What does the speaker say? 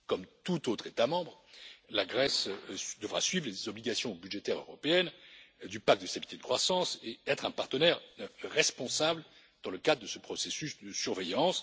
Comme tout autre État membre, la Grèce devra suivre les obligations budgétaires européennes du pacte de stabilité de croissance et être un partenaire responsable dans le cadre de ce processus de surveillance.